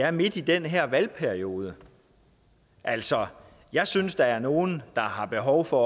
er midt i den her valgperiode altså jeg synes at der er nogle der har behov for